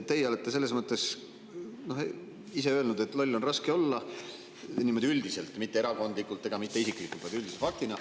Te olete ise öelnud, et loll on raske olla – niimoodi üldiselt, mitte erakondlikult ega isiklikult, vaid üldise faktina.